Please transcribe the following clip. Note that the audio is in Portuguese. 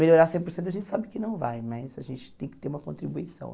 Melhorar cem por cento a gente sabe que não vai, mas a gente tem que ter uma contribuição.